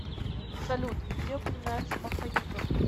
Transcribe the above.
салют где упоминается махаюга